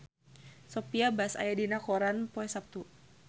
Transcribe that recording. Sophia Bush aya dina koran poe Saptu